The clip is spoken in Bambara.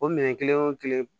O minɛn kelen wo kelen